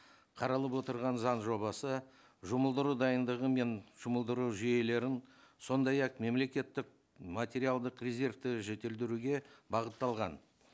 қаралып отырған заң жобасы жұмылдыру дайындығы мен жұмылдыру жүйелерін сондай ақ мемлекеттік материалдық резервті жетілдіруге бағытталған